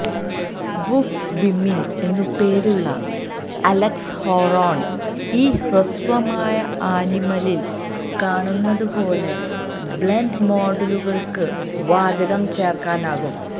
വുഫ്ഫ് വിമിൻ എന്നു പേരുള്ള അലക്സ് ഹൊറാൻ ഈ ഹ്രസ്വമായ ആനിമലിൽ കാണുന്നതുപോലെ ബ്ലെൻഡ് മോഡുകൾക്ക് വാചകം ചേർക്കാനാകും